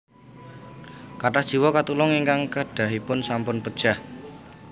Kathah jiwa katulung ingkang kedahipun sampun pejah